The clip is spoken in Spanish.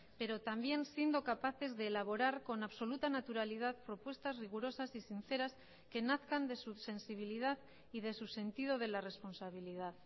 pero también siendo capaces de elaborar con absoluta naturalidad propuestas rigurosas y sinceras que nazcan de su sensibilidad y de su sentido de la responsabilidad